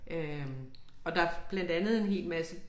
Øh og der blandt andet en hel masse